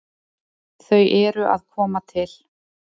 Þau eru að koma til.